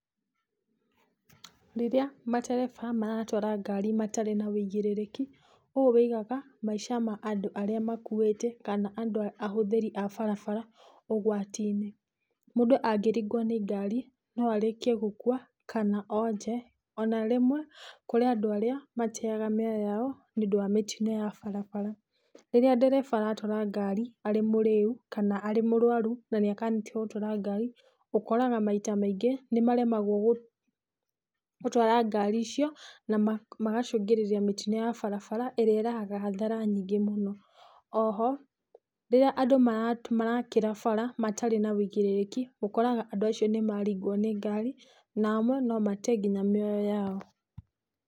Rĩrĩa matereba maratwara ngari matarĩ na wĩigĩrĩrĩki, ũũ wĩigaga maisha ma andũ arĩa makuĩte kana andũ, ahũthĩri a barabara ũgwati-inĩ. Mũndũ angĩringwo nĩ ngari no arĩkie gũkua, kana onje ona rĩmwe kũrĩ andũ arĩa mateaga mĩoyo yao nĩũndũ wa mĩtino ya barabara. Rĩrĩa ndereba aratwara ngari arĩ mũrĩu kana arĩ mũrwaru na nĩ akanĩtio gũtwara ngari, ũkoraga maita maingĩ nĩ maremagwo gũtwara ngari icio na magacũngĩrĩria mĩtino ya barabara ĩrĩa ĩrehaga hathara nyingĩ mũno. Oho rĩrĩa andũ marakĩra barabara matarĩ na wĩigĩrĩrĩki ũkoraga andũ acio nĩmaringwo nĩ ngari na amwe no mate nginya mĩoyo yao.